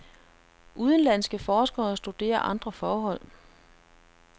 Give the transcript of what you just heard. Udenlandske forskere studerer andre forhold.